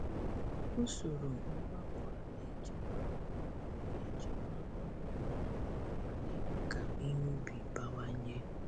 Usoro ngwakọ a na-echekwa ọrụ na-echekwa ọrụ mmadụ ma na-eme ka ihe ubi bawanye.